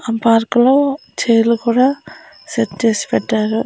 ఆ పార్క్ లో చైర్లు కూడా సెట్ చేసి పెట్టారు.